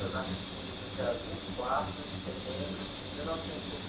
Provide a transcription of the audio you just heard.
Eu nasci no dia vinte e quatro de setembro de mil novecentos e